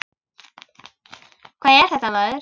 Hvað er þetta, maður?